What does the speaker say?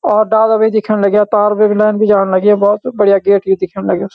और डाला भी दिखेण लग्याँ पार भी एक नॉन भी जाण लग्युं भोत बढ़िया गेट भी दिखेण लग्युं ।